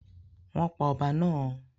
Wọ́n pa ọba náà?